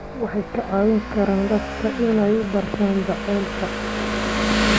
Waxay ka caawin karaan dadka inay bartaan jacaylka.